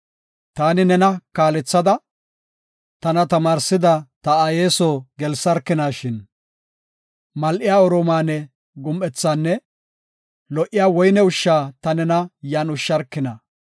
Taani nena kaalethada, tana tamaarsida ta aaye soo gelsarkinashin. Mal7iya Oromaane gum7ethaanne lo77iya woyne ushsha ta nena yan ushsharkina.